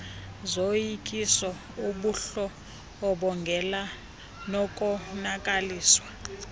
zoyikiso ubundlobongela nokonakaliswa